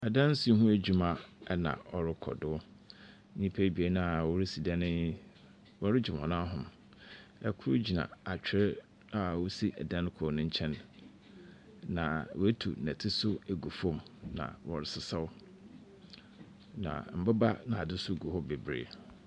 Adansi ho adwuma ɛna ɔrekɔdo. Nnipa bienu a ɔresi dan yi, ɔregyina hɔn nan ho. Ɛkoro gyina atwere a ɔsi edan koro no nkyɛn na wɛtu nnɛte ɛgu fam na ɔresesaw, na mmoba naadze nso gu hɔ bebree.